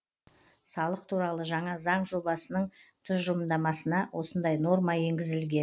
салық туралы жаңа заң жобасының тұжырымдамасына осындай норма енгізілген